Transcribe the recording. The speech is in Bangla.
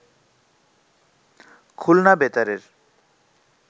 খুলনা বেতারের